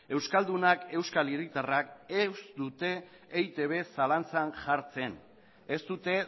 euskaldunak euskal hiritarrak ez dute eitb zalantzan jartzen ez dute